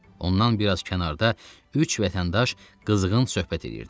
Ondan bir az kənarda üç vətəndaş qızğın söhbət edirdi.